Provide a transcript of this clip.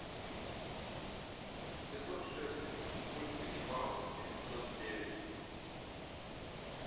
сезон шесть мульт ганнибал эпизод девять